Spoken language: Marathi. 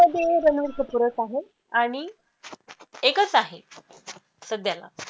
ते रणबीर कपूरच आहे आणि एकच आहे सध्याला